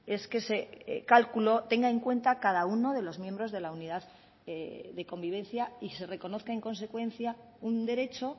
es que ese cálculo tenga en cuenta a cada uno de los miembros de la unidad de convivencia y se reconozca en consecuencia un derecho